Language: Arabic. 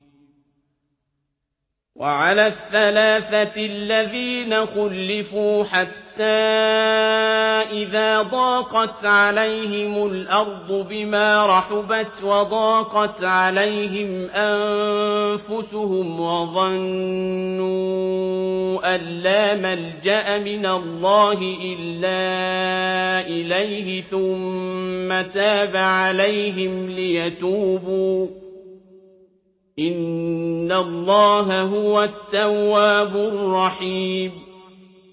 وَعَلَى الثَّلَاثَةِ الَّذِينَ خُلِّفُوا حَتَّىٰ إِذَا ضَاقَتْ عَلَيْهِمُ الْأَرْضُ بِمَا رَحُبَتْ وَضَاقَتْ عَلَيْهِمْ أَنفُسُهُمْ وَظَنُّوا أَن لَّا مَلْجَأَ مِنَ اللَّهِ إِلَّا إِلَيْهِ ثُمَّ تَابَ عَلَيْهِمْ لِيَتُوبُوا ۚ إِنَّ اللَّهَ هُوَ التَّوَّابُ الرَّحِيمُ